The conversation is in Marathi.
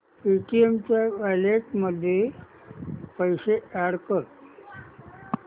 पेटीएम वॉलेट मध्ये पैसे अॅड कर